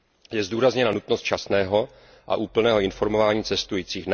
Je zdůrazněna nutnost včasného a úplného informování cestujících.